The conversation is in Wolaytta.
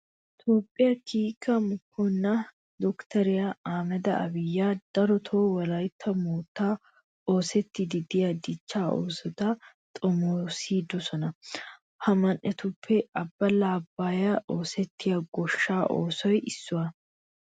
Toophphiya kiike moconaa doktteriya ahimeda abiyi darotoo wolaytta moottan oosettiiddi de'iya dichchaa oosota xomoosidosona. Ha man"etuppe abbala abbaayan oosettiya goshshaa oosoy issuwa.